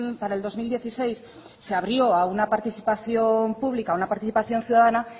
para el dos mil dieciséis se abrió a una participación pública a una participación ciudadana